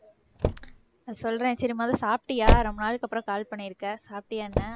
சொல்றேன் சரி முதல்ல சாப்பிட்டியா ரொம்ப நாளைக்கு அப்புறம் call பண்ணி இருக்க. சாப்பிட்டியா என்ன?